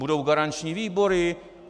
Budou garanční výbory!